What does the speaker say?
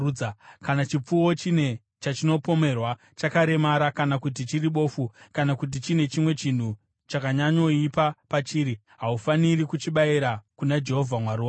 Kana chipfuwo chine chachinopomerwa, chakaremara kana kuti chiri bofu, kana kuti chine chimwe chinhu chakanyanyoipa pachiri, haufaniri kuchibayira kuna Jehovha Mwari wako.